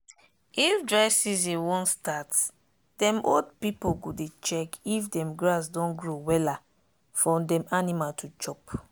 if dry season wan startdem old pipu go dey check if dem grass don grow wella for dem animal to chop.